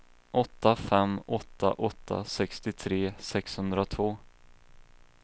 åtta fem åtta åtta sextiotre sexhundratvå